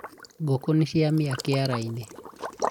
ngũkũ niciamĩa kĩarainĩ